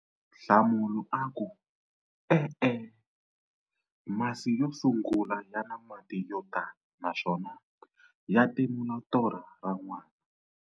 Nhlamulo- E-e, masi yo sungula ya na mati yo tala naswona ya timula torha ra n'wana.